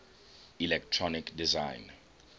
electronic design